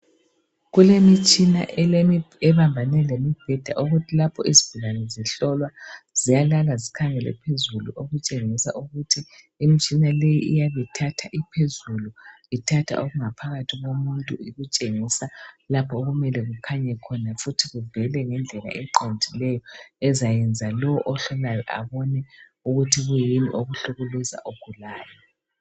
Kulemitshana ebambane lemibheda ,okuthi lapho izigulane zihlolwa ziyalala zikhangele phezulu. Okutshengisa ukuthi imitshina leyi iyabithatha iphezulu ,ithatha okungaphakathi komuntu .Itshengisa lapho okumele kukhanya khona futhi kuvele ngendlela eqondileyo ,ezayenza lo ohlolayo abone ukuthi kuyini okuhlukumeza ogulayo.